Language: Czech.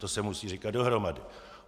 To se musí říkat dohromady.